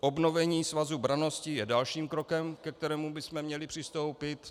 Obnovení Svazu brannosti je dalším krokem, ke kterému bychom měli přistoupit.